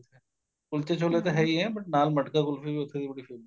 ਕੁਲਚੇ ਛੋਲੇ ਤਾਂ ਹੈ ਈ ਏ but ਨਾਲ ਮਟਕਾ ਕੁਲਫੀ ਵੀ ਉਥੇ ਦੀ ਬੜੀ famous ਏ